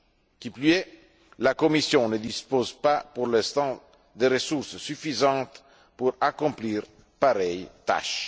Qui plus est, la Commission ne dispose pas pour l'instant de ressources suffisantes pour accomplir pareille tâche.